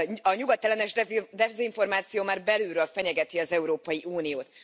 A nyugatellenes dezinformáció már belülről fenyegeti az Európai Uniót.